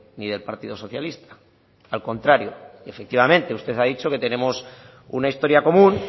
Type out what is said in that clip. ni del partido socialista al contrario efectivamente usted ha dicho que tenemos una historia común